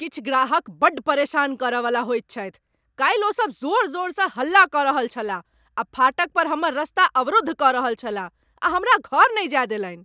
किछु ग्राहक बड्ड परेशान करय वाला होइत छथि। काल्हि ओसब जोर जोरसँ हल्ला कऽ रहल छलाह आ फाटक पर हमर रस्ता अवरुद्ध कऽ रहल छलाह, आ हमरा घर नहि जाय देलनि !